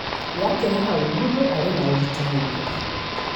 Yakĩra hau mũndũ arĩ na ũritũ mũingĩ